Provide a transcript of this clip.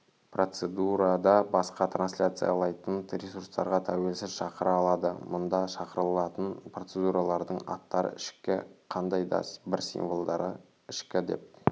процедурада басқа трансляциялайтын ресурстарға тәуелсіз шақыра алады мұнда шақырылатын процедуралардың аттары ішкі қандай да бір символдары ішкі деп